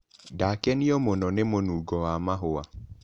Ndakenio mũno nĩ mũnugo wa mahũa.